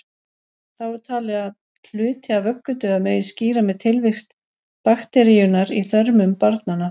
Þá er talið að hluti af vöggudauða megi skýra með tilvist bakteríunnar í þörmum barnanna.